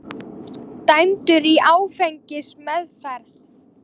Dæmdur í áfengismeðferð